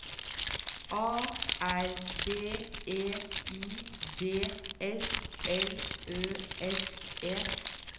A R B E I D S L Ø S E